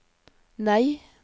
nei